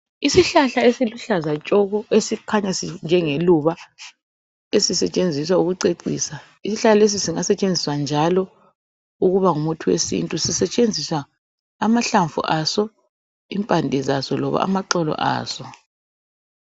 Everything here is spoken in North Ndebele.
Isihlahla esiluhlaza tshoko esikhanya sinjengeluba esisetshenziswa ukucecisa . Isihlahla lesi singasetshenziswa njalo njengomuthi wesintu kusetshenziswa amahlamvua so, impande saso loba amaxolo aso.